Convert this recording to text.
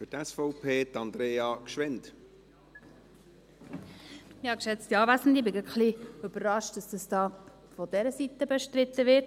Ich bin gerade ein wenig überrascht, dass es da von dieser Seite bestritten wird.